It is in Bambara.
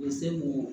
U bɛ se k'o